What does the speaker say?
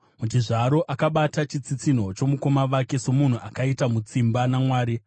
Muchizvaro akabata chitsitsinho chomukoma wake; somunhu akaita mutsimba naMwari.